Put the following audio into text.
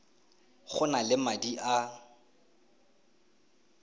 go na le madi a